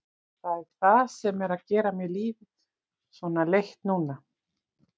Það er það sem er að gera mér lífið svona leitt núna.